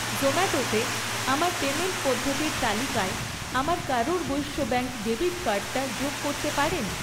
জোম্যাটোতে আমার পেমেন্ট পদ্ধতির তালিকায় আমার কারুর বৈশ্য ব্যাঙ্ক ডেবিট কার্ডটা যোগ করতে পারেন?